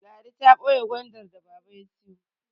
Ladi ta boye Gwandar da baba ya siyo